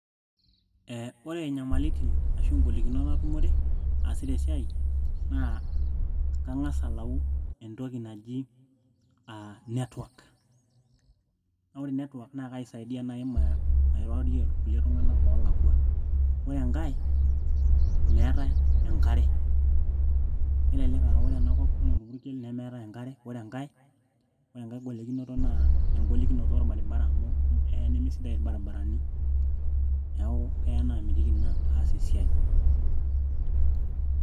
ee ore inyamalitin ashu ingolikinot natumore aasita esiai naa kang'as alau entoki naji aa network naa ore network naa kaisaidia naaji mairorie irkulie tung'anak oolakua ore enkay meetay enkare kelelek aa ore enakop naa orpurkel nemeetay enkare ore enkay, ore enkay golikinoto naa engolikinoto orbaribara amu eya nemesidai irbaribarani neeku keya naamitiki ina aas esiai.